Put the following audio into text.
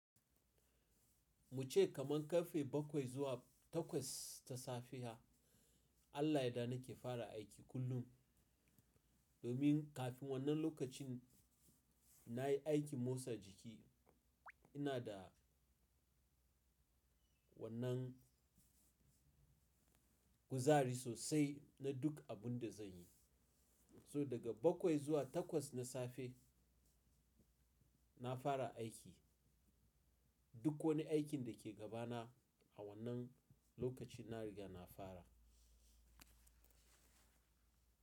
Muce kaman karfe bakwai zuwa takwas ta safiya Allah yayarda nake fara aiki kullum. Domin kafin wannan lokacin nayi aikin motsa jiki inada wannan kuzari sosai na duk abun da zan yi. So daga bakwai zuwa takwas na safe nafara aiki. Duk wani aikin da ke gabana a wannan lokaci na riga na fara.